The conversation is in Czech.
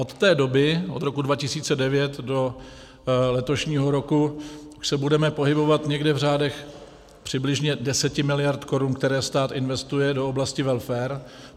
Od té doby, od roku 2009 do letošního roku, se budeme pohybovat někde v řádech přibližně 10 mld. korun, které stát investuje do oblasti welfaru.